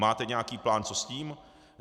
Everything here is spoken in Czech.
Máte nějaký plán, co s tím?